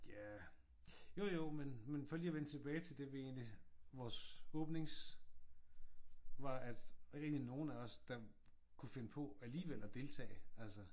Ja jo jo men men for lige at vende tilbage til det vi egentlig vores åbnings var at der er ikke nogen af os der kunne finde på alligevel at deltage altså